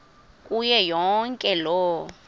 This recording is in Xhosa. kuyo yonke loo